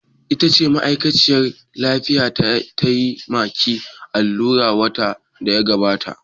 Ita ce ma'aikaciyar lafiyar da tayi ma ki allura watan da ya gabata?